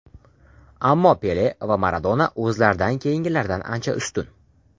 Ammo Pele va Maradona o‘zlaridan keyingilardan ancha ustun.